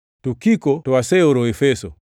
Tukiko to aseoro Efeso.